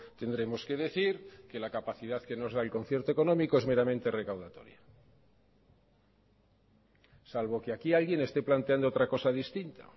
tendremos que decir que la capacidad que nos da el concierto económico es meramente recaudatoria salvo que aquí alguien esté planteando otra cosa distinta